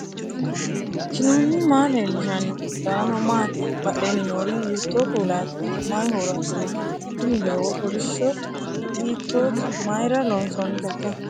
knuni maa leellishanno ? danano maati ? badheenni noori hiitto kuulaati ? mayi horo afirino ? tini doogo kolishsho hiitoote mayra loonsoonniteikka